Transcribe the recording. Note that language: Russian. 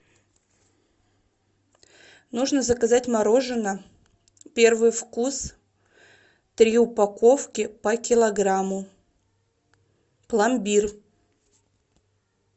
нужно заказать морожено первый вкус три упаковки по килограмму пломбир